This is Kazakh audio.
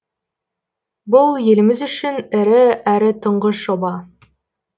бұл еліміз үшін ірі әрі тұңғыш жоба